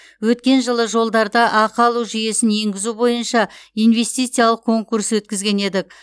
өткен жылы жолдарда ақы алу жүйесін енгізу бойынша инвестициялық конкурс өткізген едік